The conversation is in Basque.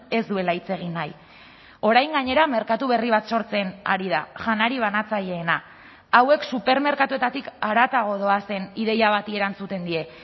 ez duela hitz egin nahi orain gainera merkatu berri bat sortzen ari da janari banatzaileena hauek supermerkatuetatik haratago doazen ideia bati erantzuten die